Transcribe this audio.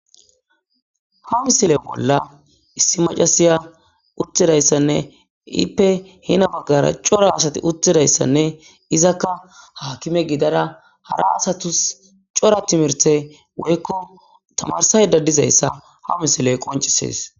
Ha misile bolla issi macasiya uttidayssanne ippe heni baggara cora asati uttidayssanne izakka haakime gidada hara asatus cora timirte woykko tamarsayda dizayssa ha misiley qoncisees.